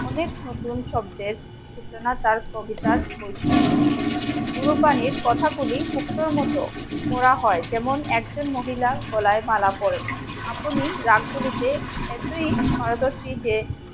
অনেক নতুন সব সূচনা তার কবিতার বৈশিষ্ট্য পুরো পানির কথাগুলি শুকনো মতো পোড়া হয় যেমন একজন মহিলার গলায় মালা পরেন আপনি ড্রাগগুলিতে এতোই পারদর্শীতে যে